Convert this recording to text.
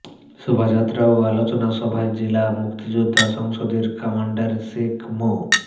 শোভাযাত্রা ও আলোচনা সভায় জেলা মুক্তিযোদ্ধা সংসদের কমান্ডার শেখ মো